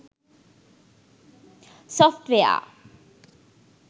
software